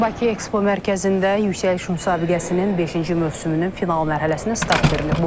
Bakı Ekspo Mərkəzində Yüksəliş müsabiqəsinin beşinci mövsümünün final mərhələsinə start verilib.